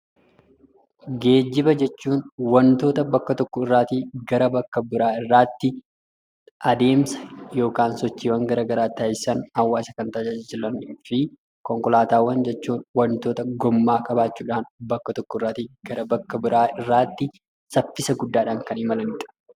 Geejjiba jechuun wantoota bakka tokkorraatii gara bakka biraatti adeemsa yookaan sochiiwwan garaagaraa taasisan, hawaasa kan tajaajilanii fi konkolaataa jechuun wantoota gommaa qaban bakka tokkorraatii gara bakka biraatti saffisa guddaan kan imalanidha.